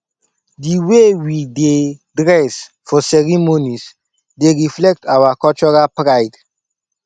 di way we dey dress for ceremonies dey reflect our cultural pride